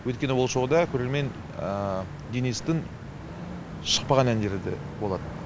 өйткені ол шоуда көрермен денистің шықпаған әндері де болады